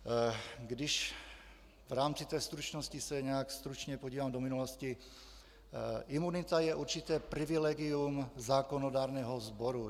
Když v rámci té stručnosti se nějak stručně podívám do minulosti - imunita je určité privilegium zákonodárného sboru.